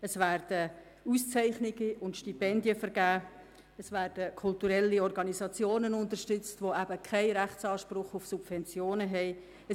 Es werden Auszeichnungen und Stipendien vergeben und kulturelle Organisationen unterstützt, die keinen Rechtsanspruch auf Subventionen haben.